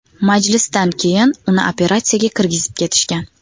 Majlisdan keyin uni operatsiyaga kirgizib ketishgan.